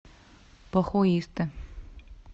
похуисты